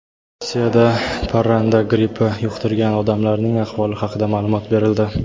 Rossiyada parranda grippi yuqtirgan odamlarning ahvoli haqida ma’lumot berildi.